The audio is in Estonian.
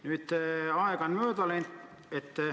Nüüd on aega mööda läinud.